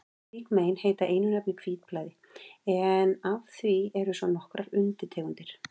Slík mein heita einu nafni hvítblæði, en af því eru svo nokkrar undirtegundir.